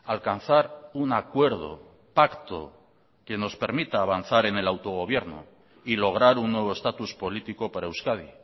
alcanzar un acuerdo pacto que nos permita avanzar en el autogobierno y lograr un nuevo estatus político para euskadi